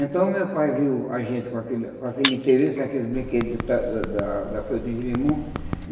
Então, o meu pai viu a gente com aquele com aquele interesse naqueles brinquedos da da da da Floresta de jerimum.